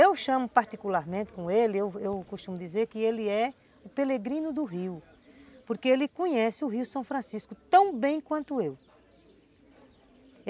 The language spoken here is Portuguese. Eu chamo particularmente com ele, eu eu costumo dizer que ele é o Pelegrino do rio, porque ele conhece o rio São Francisco tão bem quanto eu.